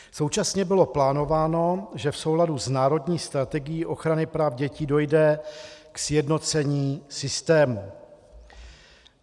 Současně bylo plánováno, že v souladu s Národní strategií ochrany práv dětí dojde ke sjednocení systému.